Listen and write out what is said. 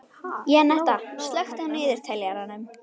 Jenetta, slökktu á niðurteljaranum.